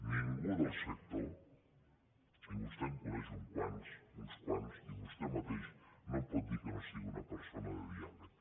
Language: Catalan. ningú del sector i vostè en coneix uns quants i vostè mateix no em pot dir que no sigui una persona de diàleg